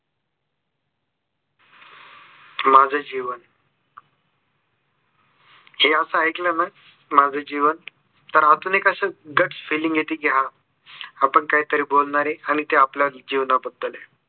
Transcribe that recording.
माझे जीवन हे असे ऐकले ना माझ जीवन तर आतून एक असं gutt feeling येते की हा आपण काहीतरी बोलणार आहे आणि ते आपल्या जिवणाबद्दल आहे.